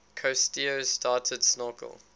cousteau started snorkel